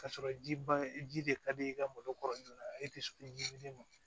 Ka sɔrɔ ji ban ji de ka di i ka malo kɔrɔ joona e tɛ so ɲimini ma